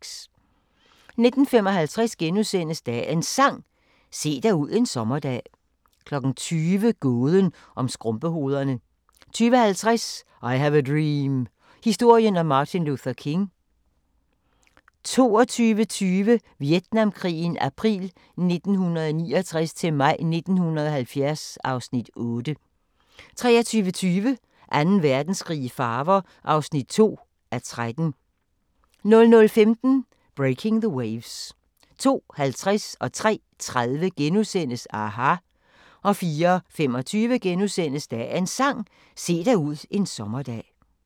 19:55: Dagens Sang: Se dig ud en sommerdag * 20:00: Gåden om skrumpehovederne 20:50: I have a dream – historien om Martin Luther King 22:20: Vietnamkrigen april 1969-maj 1970 (Afs. 8) 23:20: Anden Verdenskrig i farver (2:13) 00:15: Breaking the Waves 02:50: aHA! * 03:30: aHA! * 04:25: Dagens Sang: Se dig ud en sommerdag *